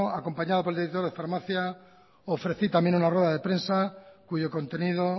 acompañado por el director de farmacia ofrecí también una rueda de prensa cuyo contenido